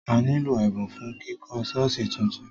A nílò ẹ̀bùn fún kíkọ́ ṣọ́ọ̀ṣì tuntun.